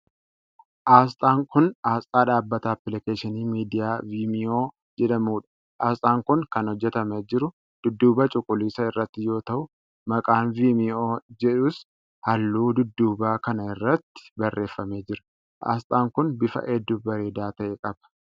Asxaan kun, asxaa dhaabata appilikeeshinii miidiyaa Viimiyoo jedhamuu dha. Asxaan kun kan hojjatamee jiru dudduuba cuquliisa irratti yoo ta'u, maqaan "Vimeo" jedhus halluu dudduubaa kana irratti barreeffamee jira. Asxaan kun, bifa hedduu bareedaa ta'e qaba.